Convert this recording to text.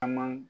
An man